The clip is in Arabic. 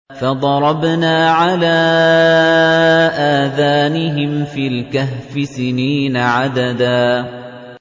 فَضَرَبْنَا عَلَىٰ آذَانِهِمْ فِي الْكَهْفِ سِنِينَ عَدَدًا